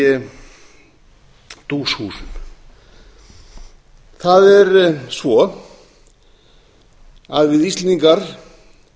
módelsmiðs í duushúsum það er svo að við íslendingar